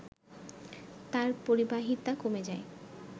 তার পরিবাহিতা কমে যায়